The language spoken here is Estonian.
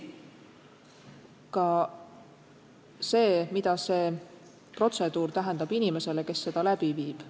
Ka selles osas, mida see protseduur tähendab inimesele, kes seda läbi viib.